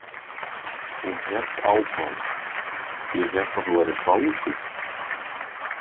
Hún hélt áfram: Ég hélt að þú værir svangur.